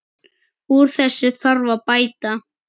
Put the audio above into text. Úr þessu þarf að bæta.